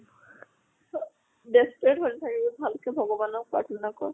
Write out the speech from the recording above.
desperate হৈ নাথাকিবি ভাল কে ভগৱানক প্ৰাৰ্থনা কৰ